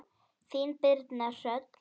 Þín Birna Hrönn.